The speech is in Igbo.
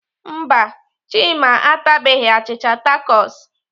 Mba, Chima atabeghị achịcha takos.